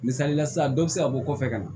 Misalila sisan dɔ be se ka bɔ kɔfɛ ka na